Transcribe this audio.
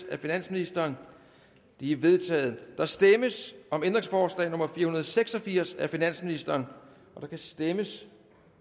af finansministeren de er vedtaget der stemmes om ændringsforslag nummer fire hundrede og seks og firs af finansministeren der kan stemmes